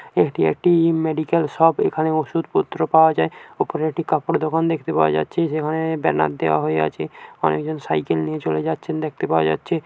এটি একটি-ই medical shop এখানে ওষুধ পত্র পাওয়া যায় ওপরে একটি কাপড়ের দোকান দেখতে পাওয়া যাচ্ছে যেখানে-এ ব্যানার দেওয়া হয়ে আছে অনেকজন সাইকেল নিয়ে চলে যাচ্ছে দেখতে পাওয়া যাচ্ছে।